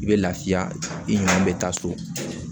I bɛ lafiya i ɲinɛn bɛ taa so